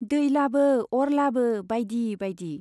दै लाबो , अर लाबो बाइदि बाइदि।